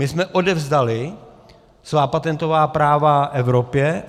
My jsme odevzdali svá patentová práva Evropě.